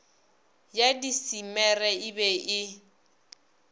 ya disemere e be e